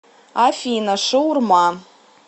афина шаурма